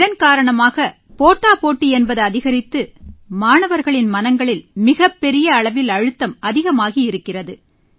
இதன் காரணமாக போட்டாபோட்டி என்பது அதிகரித்து மாணவர்களின் மனங்களில் மிகப் பெரிய அளவில் அழுத்தம் அதிகமாகி இருக்கிறது